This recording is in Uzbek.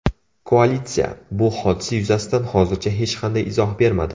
Koalitsiya bu hodisa yuzasidan hozircha hech qanday izoh bermadi.